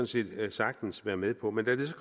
set sagtens være med på men da det så